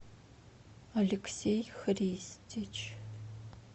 алексей христич